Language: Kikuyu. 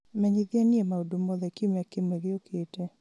menyithia niĩ maũndũ mothe kiumia kĩmwe gĩukĩte